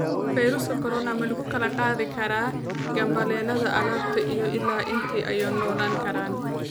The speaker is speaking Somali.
Fayruuska corona ma lagu kala qaadi karaa gambaleelada albaabka iyo ilaa intee ayuu noolaan karaa?